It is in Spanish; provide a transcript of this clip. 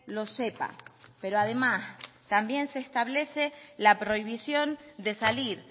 lo sepa pero además también se establece la prohibición de salir